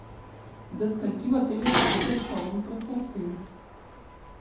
до скольки в отеле работает салон красоты